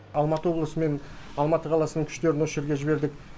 алматы облысы мен алматы қаласының күштерін осы жерге жібердік